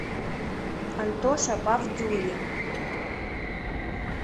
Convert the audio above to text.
антоша павдюрин